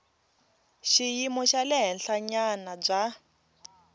xiyimo xa le henhlanyana bya